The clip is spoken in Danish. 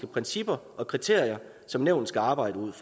principper og kriterier som nævnet skal arbejde ud